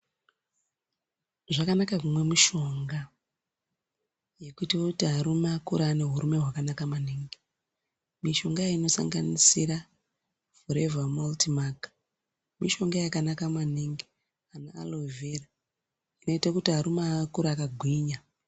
Zvakanaka kunwe mishonga yekutoti varume vakure vaine hurume hwakanaka maningi. Mishonga iyi inosanganisira revha vauti maki mishonga yakanaka maningi ana arovhera inoita kuti arume akure akangwinya.